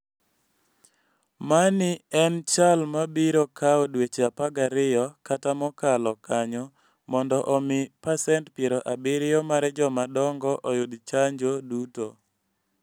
Mani en chal ma biro kawo dweche 12 kata mokalo kanyo mondo omi pasent 70 mar joma dongo oyud chanjo duto.